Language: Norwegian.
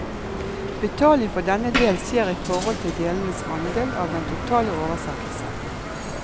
Betaling for denne del skjer i forhold til delens andel av den totale oversettelse.